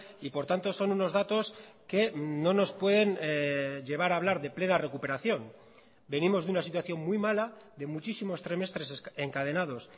y por tanto son unos datos que no nos pueden llevar a hablar de plena recuperación venimos de una situación muy mala de muchísimos trimestres encadenados